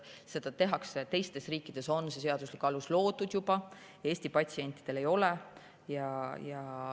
Seda tehakse, teistes riikides on see seaduslik alus loodud juba, Eesti patsientidele ei ole.